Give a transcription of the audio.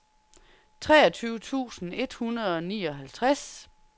treogtyve tusind et hundrede og nioghalvtreds